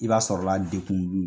I b'a sɔrɔla dekun b'u